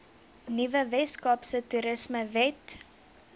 nuwe weskaapse toerismewet